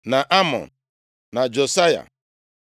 na Amọn, na Josaya.